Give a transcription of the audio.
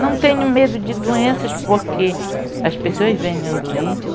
Não tenho medo de doenças porque as pessoas venham doente